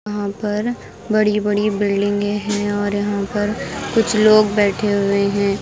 यहाँ पर बड़ी बड़ी बिल्डिंगें हैं और यहाँ पर कुछ लोग बैठे हुए हैं।